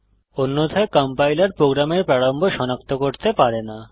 অন্যথায় কম্পাইলার প্রোগ্রামের প্রারম্ভ সনাক্ত করতে পারে না